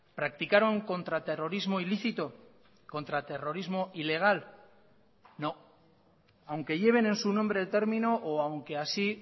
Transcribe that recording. practicaron contra terrorismo ilícito contra terrorismo ilegal no aunque lleven en su nombre el término o aunque así